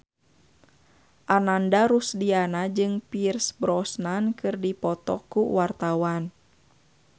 Ananda Rusdiana jeung Pierce Brosnan keur dipoto ku wartawan